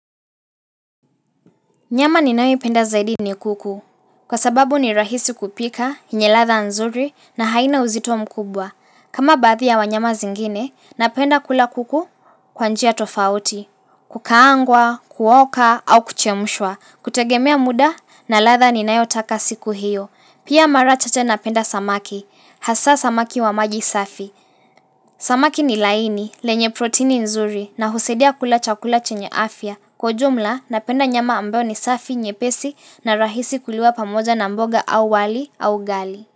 Nyama ninae penda zaidi ni kuku, kwa sababu ni rahisi kupika, enye latha nzuri na haina uzito mkubwa. Kama bathi ya wanyama zingine, napenda kula kuku kwa njia tofauti, kukaangwa, kuoka au kuchemshwa, kutegemea muda na latha ninayotaka siku hiyo. Pia marachache napenda samaki, hasa samaki wa maji safi. Samaki ni laini, lenye protini nzuri na husedia kula chakula chenye afya. Kwa ujumla, napenda nyama ambayo ni safi, nyepesi na rahisi kuliwa pamoja na mboga au wali au gali.